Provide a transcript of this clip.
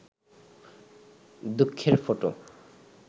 দুঃখের ফটো